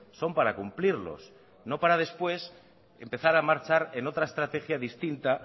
son para cumplirlos no para después empezar a marcha en otra estrategia distinta